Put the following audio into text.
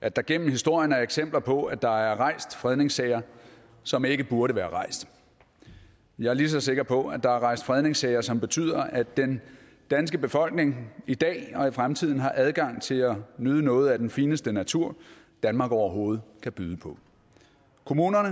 at der igennem historien er eksempler på at der er rejst fredningssager som ikke burde være rejst og jeg er lige så sikker på at der er rejst fredningssager som betyder at den danske befolkning i dag og i fremtiden har adgang til at nyde noget af den fineste natur danmark overhovedet kan byde på kommunerne